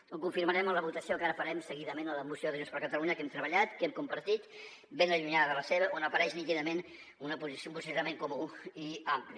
ho confirmarem amb la votació que ara farem se·guidament amb la moció de junts per catalunya que hem treballat que hem compartit ben allunyada de la seva on apareix nítidament un posicionament comú i ampli